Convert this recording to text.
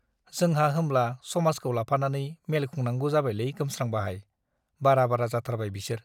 जोंहा होमब्ला समाजखौ लाफानानै मेल खुंनांगौ जाबायलै गोमस्रां बाहाइ , बारा बारा जाथारबाय बिसोर ।